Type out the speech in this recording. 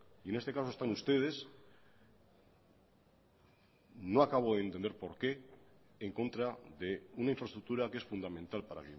y en este caso están ustedes no acabo de entender por qué en contra de una infraestructura que es fundamental para